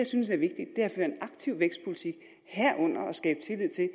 synes er vigtigt er at føre en aktiv vækstpolitik herunder at skabe tillid til at